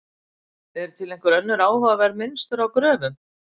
Eru til einhver önnur áhugaverð mynstur á gröfum?